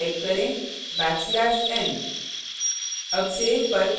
double quotes में type करें \n